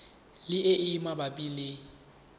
le e e mabapi le